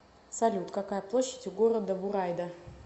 салют какая площадь у города бурайда